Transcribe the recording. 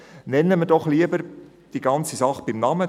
Nennen wir die ganze Sache doch lieber beim Namen.